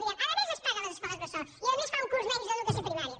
direm paguen les escoles bressol i a més fan un curs menys d’educació primària